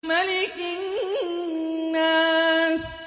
مَلِكِ النَّاسِ